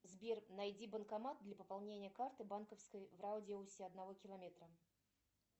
сбер найди банкомат для пополнения карты банковской в радиусе одного километра